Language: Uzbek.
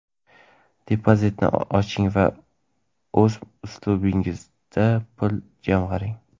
depozitni oching va o‘z uslubingizda pul jamg‘aring:.